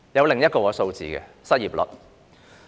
另一個數字是失業率。